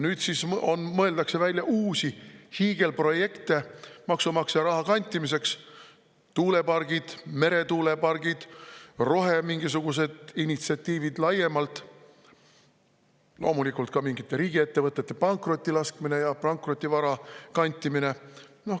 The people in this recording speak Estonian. Nüüd mõeldakse välja uusi hiigelprojekte maksumaksja raha kantimiseks: tuulepargid, meretuulepargid, mingisugused roheinitsiatiivid laiemalt, loomulikult ka mingite riigiettevõtete pankrotti laskmine ja pankrotivara kantimine.